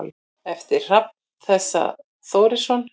eftir hrafn þorra þórisson